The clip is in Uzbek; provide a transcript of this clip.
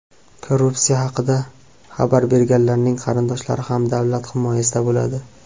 Korrupsiya haqida xabar berganlarning qarindoshlari ham davlat himoyasida bo‘ladi.